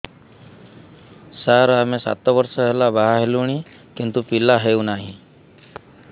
ସାର ଆମେ ସାତ ବର୍ଷ ହେଲା ବାହା ହେଲୁଣି କିନ୍ତୁ ପିଲା ହେଉନାହିଁ